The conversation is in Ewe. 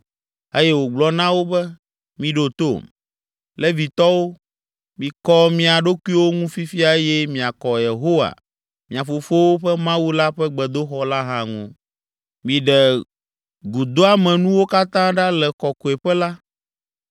eye wògblɔ na wo be, “Miɖo tom, Levitɔwo! Mikɔ mia ɖokuiwo ŋu fifia eye miakɔ Yehowa, mia fofowo ƒe Mawu la ƒe gbedoxɔ la hã ŋu. Miɖe gudoamenuwo katã ɖa le Kɔkɔeƒe la.